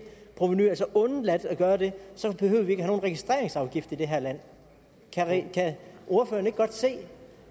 provenu altså undladt at gøre det så behøvede vi ikke have nogen registreringsafgift i det her land kan ordføreren ikke godt se